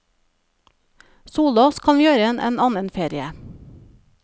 Sole oss kan vi gjøre en annen ferie.